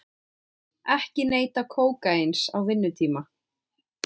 Ekki neyta kókaíns á vinnutíma